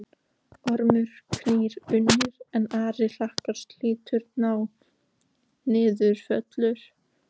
Ormur knýr unnir, en ari hlakkar, slítur nái Niðfölur